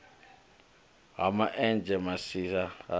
ha ma enzhe masisi ha